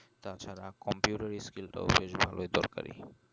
তাছাড়া computer skill টাও বেশ ভালোই দরকারই